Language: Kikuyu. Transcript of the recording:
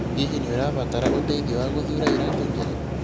Hihi nĩ ũrabatara ũteithio wa gũthuura iratũ njega?